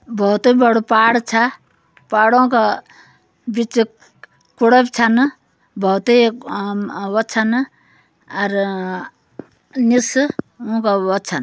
बोहोत ही बड़ो पहाड़ छ। पहाड़ो क बीच कुड़व छ न। बोहोत ही अम व छ न अर अ निस व-व छन।